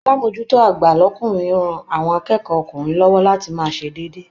Alamojuto agba l'ọkunrin rán àwọn akẹ́kọ̀ ọ́kunrin lọwọ láti máa ṣe déédé.